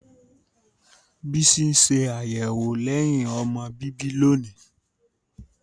Bisi n ṣe ayẹwo lẹhin-ọmọ bibi loni.